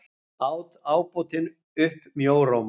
át ábótinn upp mjóróma.